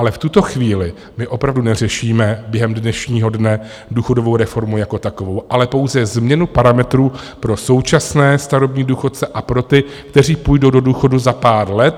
Ale v tuto chvíli my opravdu neřešíme během dnešního dne důchodovou reformu jako takovou, ale pouze změnu parametrů pro současné starobní důchodce a pro ty, kteří půjdou do důchodu za pár let.